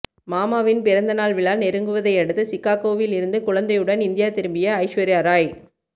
மாமாவின் பிறந்த நாள் விழா நெருங்குவதையடுத்து சிக்காக்கோவில் இருந்து குழந்தையுடன் இந்தியா திரும்பிய ஐஸ்வர்யாராய்